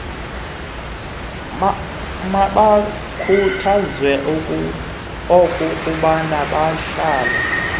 mabakhuthazwe okokuba bahlale